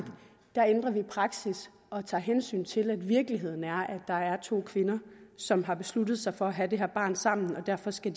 der ændrer vi praksis og tager hensyn til at virkeligheden er at der er to kvinder som har besluttet sig for at have det her barn sammen og derfor skal